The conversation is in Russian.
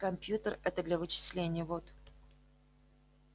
кампьютер это для вычислений вот